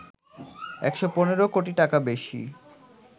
১১৫ কোটি টাকা বেশি